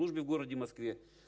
службе в городе москве